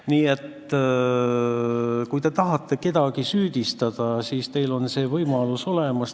Nii et kui te tahate kedagi süüdistada, siis teil on see võimalus olemas.